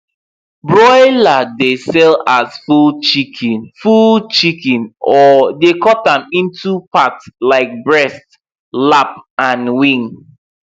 broiler dey sell as full chicken full chicken or dey cut am into part like breast lap and wing